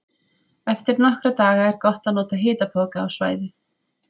Eftir nokkra daga er gott að nota hitapoka á svæðið.